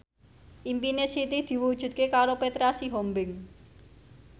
impine Siti diwujudke karo Petra Sihombing